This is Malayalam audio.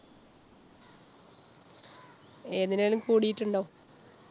ഏതിനേലും കൂടിട്ടുണ്ടോ?